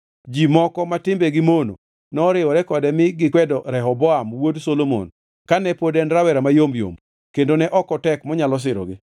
Ji moko ma timbegi mono noriwore kode mi negikwedo Rehoboam wuod Solomon kane pod en rawera mayom yom kendo ne ok otek monyalo sirogi.